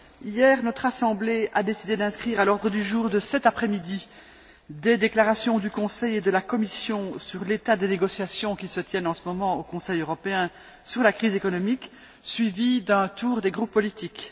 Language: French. Hier, notre Assemblée a décidé d'inscrire à l'ordre du jour de cet après midi des déclarations du Conseil et de la Commission sur l'état des négociations qui se tiennent en ce moment au Conseil européen sur la crise économique, suivies d'un tour des groupes politiques.